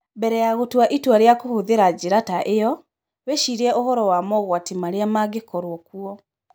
Mbere ya gũtua itua rĩa kũhũthĩra njĩra ta ĩyo, wĩcirie ũhoro wa mogwati marĩa mangĩkorũo kuo.